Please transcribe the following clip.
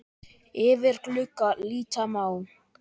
Yfir glugga líta má.